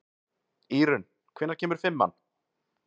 Írunn, hvenær kemur fimman?